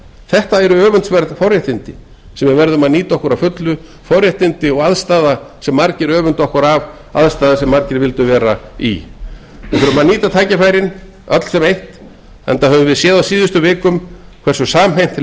þetta eru öfundsverð forréttindi sem við verðum að nýta að fullu við þurfum að nýta tækifærin öll sem eitt enda höfum við séð á síðustu vikum hverju samhent